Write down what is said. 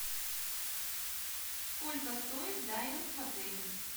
сколько стоит дайвинг в отеле